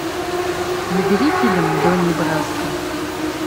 набери фильм донни браско